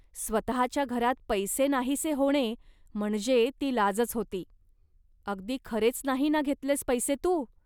स्वतःच्या घरात पैसे नाहीसे होणे म्हणजे ती लाजच होती. अगदी खरेच नाही ना घेतलेस पैसे तू